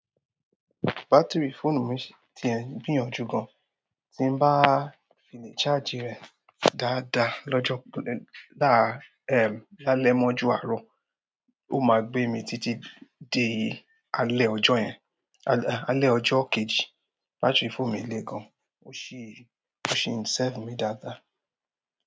Batiri fóònù mi ti ń gbìyànjú gan. Tí n bá file charge rẹ̀ dáadáa lọ́jọ́-- lálẹ́ mọ́jú arọ, ó máa gbé mi títí di alẹ́ ọjọ́ yẹn, alẹ́ ọjọ́ kejì. Batiri fóònù mi le gan, ó sì ń, ó sì ń serve mi dáadáa.